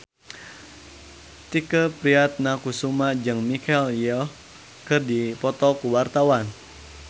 Tike Priatnakusuma jeung Michelle Yeoh keur dipoto ku wartawan